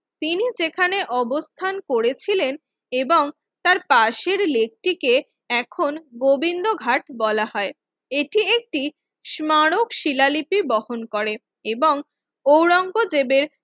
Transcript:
তিনি যেখানে অবস্থান করেছিলেন এবং তার পাশের লেকটিকে এখন গোবিন্দঘাট বলা হয় এটি একটি স্মারক শিলা লিপি বহন করেন এবং আওরঙ্গজেবের